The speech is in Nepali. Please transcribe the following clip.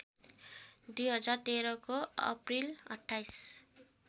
२०१३को अप्रिल २८